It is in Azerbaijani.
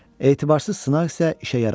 Etibarsız sınaq isə işə yaramırdı.